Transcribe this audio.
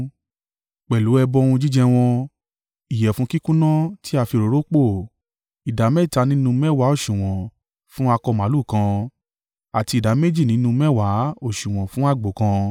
Pẹ̀lú ẹbọ ohun jíjẹ wọn, ìyẹ̀fun kíkúnná tí a fi òróró pò, ìdámẹ́ta nínú mẹ́wàá òsùwọ̀n fún akọ màlúù kan, àti ìdá méjì nínú mẹ́wàá, òsùwọ̀n fún àgbò kan,